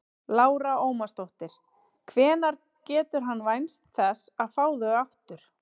Lára Ómarsdóttir: Hvenær getur hann vænst þess að fá þau aftur?